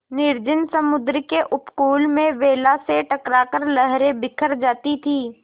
निर्जन समुद्र के उपकूल में वेला से टकरा कर लहरें बिखर जाती थीं